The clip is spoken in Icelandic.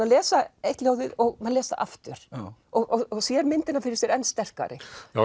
að lesa eitt ljóðið og maður les það aftur og sér myndina fyrir sér enn sterkari já